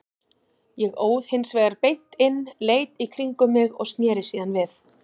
Ég óð hins vegar beint inn, leit í kringum mig og sneri síðan við.